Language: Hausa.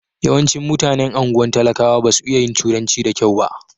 Yawancin mutanen anguwan talakawa ba su iya yin turanci da kyau ba.